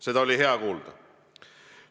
Seda oli hea kuulda.